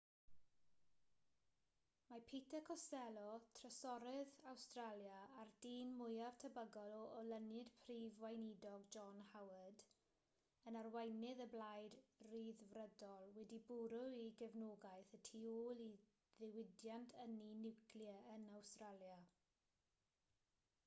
mae peter costello trysorydd awstralia a'r dyn mwyaf tebygol o olynu'r prif weinidog john howard yn arweinydd y blaid ryddfrydol wedi bwrw'i gefnogaeth y tu ôl i ddiwydiant ynni niwclear yn awstralia